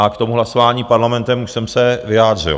A k tomu hlasování Parlamentem už jsem se vyjádřil.